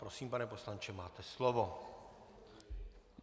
Prosím, pane poslanče, máte slovo.